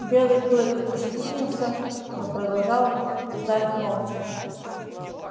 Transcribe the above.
белый клык ощетинился но продолжал ждать молча